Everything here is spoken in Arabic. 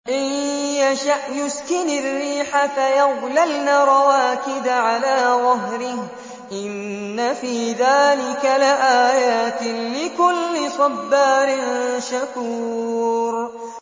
إِن يَشَأْ يُسْكِنِ الرِّيحَ فَيَظْلَلْنَ رَوَاكِدَ عَلَىٰ ظَهْرِهِ ۚ إِنَّ فِي ذَٰلِكَ لَآيَاتٍ لِّكُلِّ صَبَّارٍ شَكُورٍ